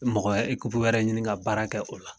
Mɔgɔ wɛrɛ ekupu wɛrɛ ɲini ka baara kɛ ola